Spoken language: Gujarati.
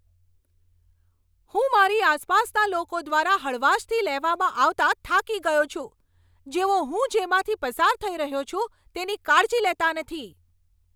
હું મારી આસપાસના લોકો દ્વારા હળવાશથી લેવામાં આવતા થાકી ગયો છું, જેઓ હું જેમાંથી પસાર થઈ રહ્યો છું, તેની કાળજી લેતા નથી.